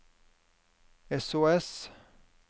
sos